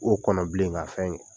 O bilen ka fɛn ye